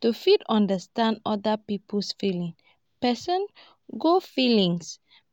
to fit understand oda pipo feelings person go feelings